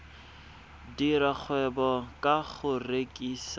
dira kgwebo ka go rekisa